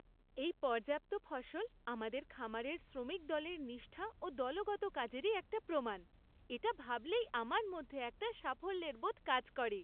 এই পর্যাপ্ত ফসল আমাদের খামারের শ্রমিক দলের নিষ্ঠা ও দলবদ্ধ কাজেরই একটা প্রমাণ। এটা ভাবলেই আমার মধ্যে একটা সাফল্যের বোধ কাজ করে।